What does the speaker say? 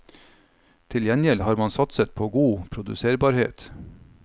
Til gjengjeld har man satset på god produserbarhet.